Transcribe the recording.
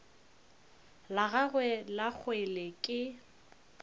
la gagwe la kgwele ke